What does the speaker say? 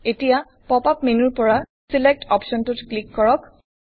এতিয়া pop up মেনুৰ পৰা ছিলেক্ট অপশ্বনটোত ক্লিক কৰক